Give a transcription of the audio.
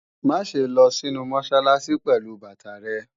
Má ṣe lọ sínu Mọ́sálásí pẹ̀lú bàtà rẹ!